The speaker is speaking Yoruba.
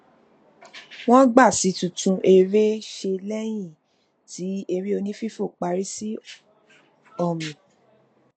wọn gbà sí titún eré ṣe lẹyìn tí eré onífífo parí sí ọmì